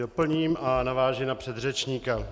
Doplním a navážu na předřečníky.